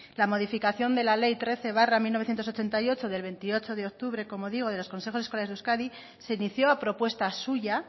la modificación de la ley trece barra mil novecientos ochenta y ocho del veintiocho de octubre como digo de los consejos escolares de euskadi se inició a propuesta suya